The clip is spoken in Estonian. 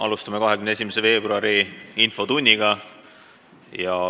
Alustame 21. veebruari infotundi.